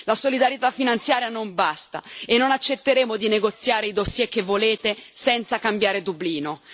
La solidarietà finanziaria non basta e non accetteremo di negoziare i dossier che volete, senza cambiare Dublino.